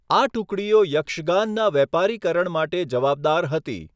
આ ટુકડીઓ યક્ષગાનના વેપારીકરણ માટે જવાબદાર હતી.